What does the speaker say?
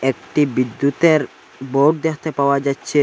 একটি বিদ্যুতের বোর্ড দেখতে পাওয়া যাচ্ছে।